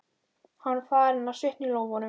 Hann var farinn að svitna í lófunum.